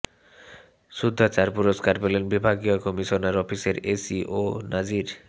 শুদ্ধাচার পুরস্কার পেলেন বিভাগীয় কমিশনার অফিসের এসি ও নাজির